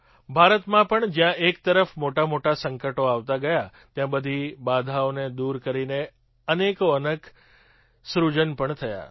ભારતમાં પણ જ્યાં એક તરફ મોટાંમોટાં સંકટો આવતાં ગયાં ત્યાં બધી બાધાઓને દૂર કરીને અનેકો અનેક સૃજન પણ થયાં